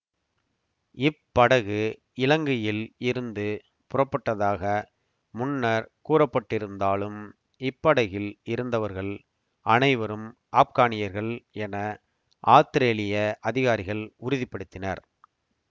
இப்படகு இலங்கையில் இருந்து புறப்பட்டதாக முன்னர் கூறப்பட்டிருந்தாலும் இப்படகில் இருந்தவர்கள் அனைவரும் ஆப்கானியர்கள் என ஆத்திரேலிய அதிகாரிகள் உறுதி படுத்தினர்